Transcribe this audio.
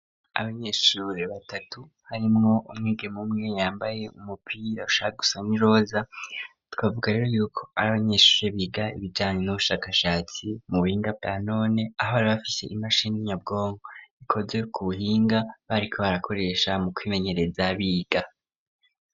abanyeshure batatu harimwo umwigeme umwe yambaye umupira rushaka gusa n iroza twavuga rero yuko ari abanyeshure biga ibijanye n'ubushakashatsi mu buhinga bwanone aho ari bafite imashini nyabwongo ikoze ku buhinga bariko barakoresha mu kwimenyereza biga